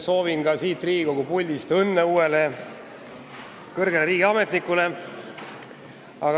Soovin samuti siit Riigikogu puldist õnne uuele kõrgele riigiametnikule.